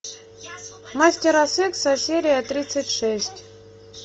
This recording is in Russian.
мастера секса серия тридцать шесть